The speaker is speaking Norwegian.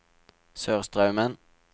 Sørstraumen